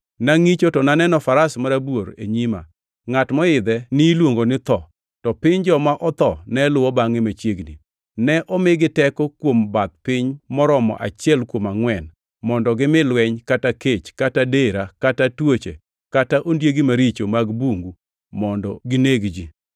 Nangʼicho to ne aneno faras marabuor e nyima! Ngʼat moidhe niluongo ni Tho, to piny joma otho ne luwo bangʼe machiegni. Ne omigi teko kuom bath piny moromo achiel kuom angʼwen mondo gimi lweny kata kech kata dera kata tuoche kata ondiegi maricho mag bungu mondo gineg ji.